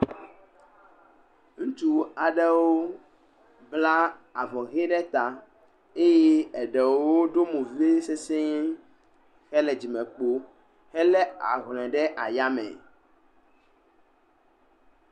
Ŋutsu aɖewo bla avɔ ʋe ɖe ta eye eɖewo ɖo mo vevie sesɛ̃e, hele dzimekpo helé ahlɔe ɖe ayame.